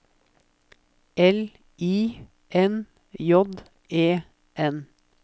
L I N J E N